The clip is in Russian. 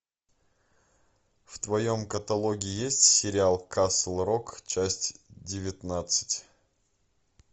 в твоем каталоге есть сериал касл рок часть девятнадцать